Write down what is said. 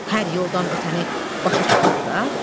Hər yoldan ötəni başa çıxardaq?